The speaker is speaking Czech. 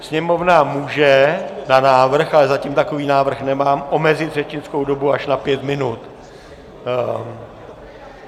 Sněmovna může na návrh, ale zatím takový návrh nemám, omezit řečnickou dobu až na 5 minut.